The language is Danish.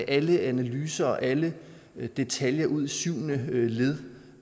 alle analyser og alle detaljer ud i syvende led